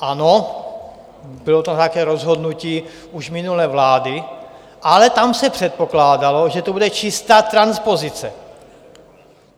Ano, bylo tam nějaké rozhodnutí už minulé vlády, ale tam se předpokládalo, že to bude čistá transpozice.